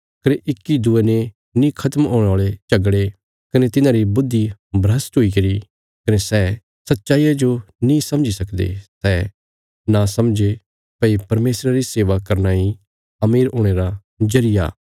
कने इक्की दूये ने नीं खत्म हुणे औल़े झगड़े कने तिन्हांरी बुद्धि भ्रष्ट हुईगरी कने सै सच्चाईया जो नीं समझी सकदे सै समझां ये भई परमेशरा री सेवा करना इ अमीर हुणे रा जरिया